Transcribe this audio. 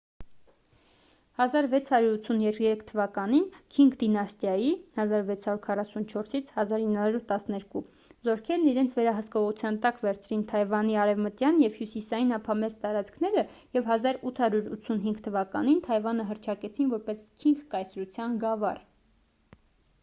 1683 թվականին քինգ դինաստիայի 1644-1912 զորքերն իրենց վերահսկողության տակ վերցրին թայվանի արևմտյան և հյուսիսային ափամերձ տարածքները և 1885 թվականին թայվանը հռչակեցին որպես քինգ կայսրության գավառ: